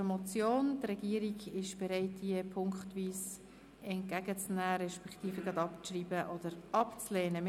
Die Regierung ist bereit, diese Motion ziffernweise entgegenzunehmen beziehungsweise sie abzuschreiben oder abzulehnen.